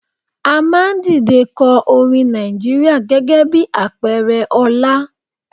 A máa ń dìde ko orin Nàìjíríà gẹ́gẹ́ bí àpẹẹrẹ ọlá.